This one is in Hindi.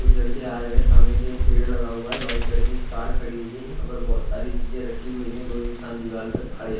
कुछ लड़के आ रहे है सामने से एक पेड़ लगा हुआ है वाईट कलर की कार खड़ी हुई है यहाँ पर बहोत सारी चीजे रखी हुई है दो इन्सान दीवार पर खड़े है।